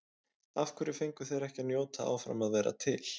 Af hverju fengu þeir ekki að njóta áfram að vera til?